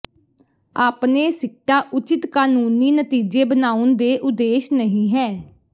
ਆਪਣੇ ਸਿੱਟਾ ਉਚਿਤ ਕਾਨੂੰਨੀ ਨਤੀਜੇ ਬਣਾਉਣ ਦੇ ਉਦੇਸ਼ ਨਹੀ ਹੈ